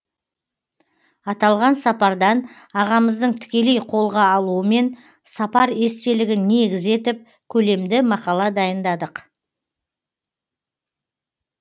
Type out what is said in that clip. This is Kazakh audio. аталған сапардан ағамыздың тікелей қолға алуымен сапар естелігін негіз етіп көлемді мақала дайындадық